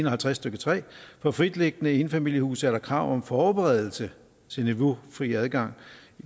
og halvtreds stykke 3 for fritliggende enfamiliehuse er der alene krav om forberedelse til niveaufri adgang